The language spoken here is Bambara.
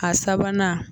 A sabanan